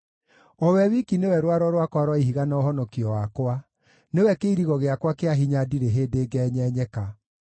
O we wiki nĩwe rwaro rwakwa rwa ihiga na ũhonokio wakwa; nĩwe kĩirigo gĩakwa kĩa hinya ndirĩ hĩndĩ ngenyenyeka.